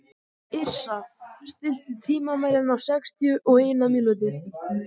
Yrsa, stilltu tímamælinn á sextíu og eina mínútur.